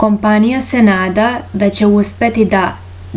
kompanija se nada da će uspeti da